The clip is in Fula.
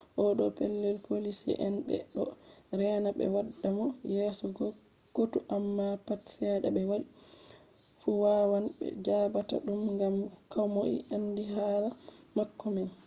o ɗo pellel poliisi en ɓe ɗo rena ɓe waddamo yeso kotu amma pat sheda ɓe waddi fu wawan ɓe jaɓataa ɗum ngam komoi andi hala mako man